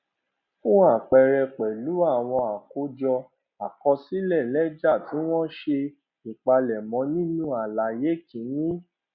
fún àpẹẹrẹ pẹlú àwọn àkójọ àkọsílẹ lẹjà tí wọn ṣe ìpalẹmọ nínú àlàyé kìíní